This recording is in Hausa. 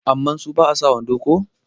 amma su ba a sa wando ko?